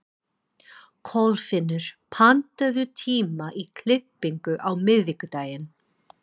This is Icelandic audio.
Kolfinnur, pantaðu tíma í klippingu á miðvikudaginn.